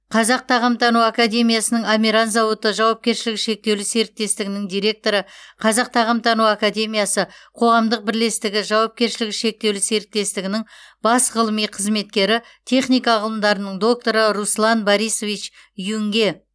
қазақ тағамтану академиясының амиран зауыты жауапкершілігі шектеулі серіктестігінің директоры қазақ тағамтану академиясы қоғамдық бірлестігі жауапкершілігі шектеулі серіктестігінің бас ғылыми қызметкері техника ғылымдарының докторы руслан борисович юнге